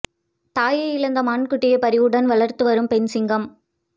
தாயை இழந்த மான் குட்டியை பரிவுடன் வளர்த்து வரும் பெண் சிங்கம்